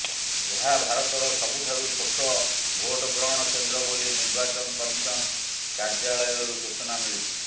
ଏହା ଭାରତର ସବୁଠାରୁ ଛୋଟ ଭୋଟ ଗ୍ରହଣ କେନ୍ଦ୍ର ବୋଲି ନିର୍ବାଚନ କମିଶନ କାର୍ଯ୍ୟାଳୟ ରୁ ସୂଚନା ମିଳିଛି